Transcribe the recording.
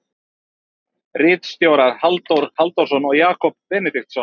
Ritstjórar Halldór Halldórsson og Jakob Benediktsson.